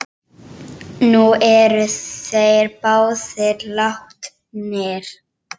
Nú eru þeir báðir látnir.